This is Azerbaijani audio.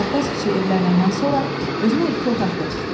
Əlabbas kişi evlənəndən sonra özünə iki otaq da tikdi.